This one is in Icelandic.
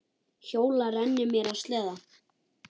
Hjóla, renni mér á sleða.